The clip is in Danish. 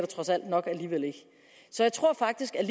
trods alt nok alligevel ikke så jeg tror faktisk at